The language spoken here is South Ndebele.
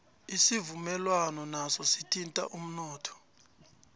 isivuno naso sithinta umnotho